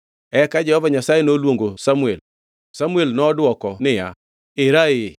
Eka Jehova Nyasaye noluongo Samuel. Samuel nodwoko niya, “Era ee.”